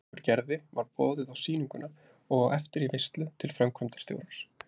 Okkur Gerði var boðið á sýninguna og á eftir í veislu til framkvæmdastjórans.